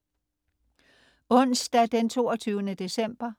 Onsdag den 22. december